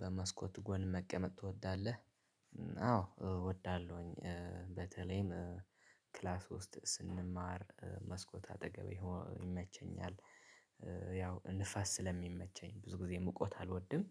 በመስኮት ጎን መቀመጥ ትወዳለህ? እ አዎ እወዳለሁኝ እ በተለይም እ ክላስ ውስጥ ስንማር እ መስኮት አጠገብ መሆን ይመቸኛል። ያው ንፋስ ስለሚመቸኝ ብዙ ጊዜ ሙቀት አልወድም።